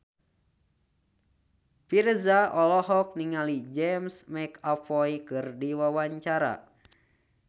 Virzha olohok ningali James McAvoy keur diwawancara